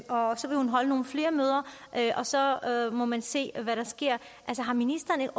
så vil hun holde nogle flere møder og så må man se hvad der sker har ministeren